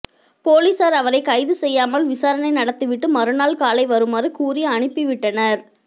போலீசார் அவரை கைது செய்யாமல் விசாரணை நடத்திவிட்டு மறுநாள் காலை வருமாறு கூறி அனுப்பிவிட்டனர்